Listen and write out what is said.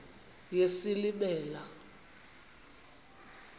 yesilimela